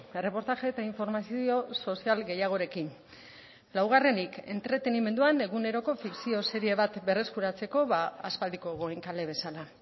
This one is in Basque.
erreportaje eta informazio sozial gehiagorekin laugarrenik entretenimenduan eguneroko fikzio serie bat berreskuratzeko aspaldiko goenkale bezala